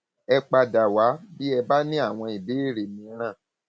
ẹ padà wá bí ẹ bá ní àwọn ìbéèrè mìíràn